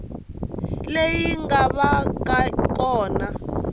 leyi nga va ka kona